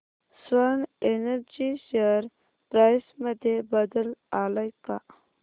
Swan Energy share price मध्ये बदल आलाय का